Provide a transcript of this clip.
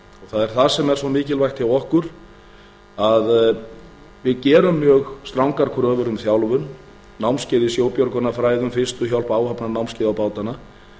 það er það sem er svo mikilvægt hjá okkur að við gerum mjög strangar kröfur um þjálfun námskeið í sjóbjörgunarfræðum fyrstu hjálp áhafnanámskeið á bátana